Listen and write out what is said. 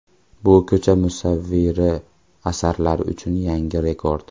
Bu ko‘cha musavviri asarlari uchun yangi rekord.